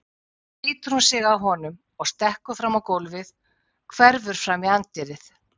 Svo slítur hún sig af honum og stekkur fram á gólfið, hverfur fram í anddyrið.